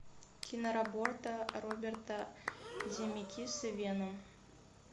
киноработа роберта земекиса веном